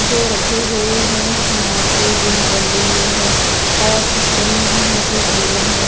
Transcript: जो रखे गए हैं यहां पे जो बंधें हुए हैं और पुट्ठे में भी यहां पे चूड़ियां हैं।